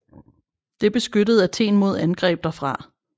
Det beskyttede Athen mod angreb derfra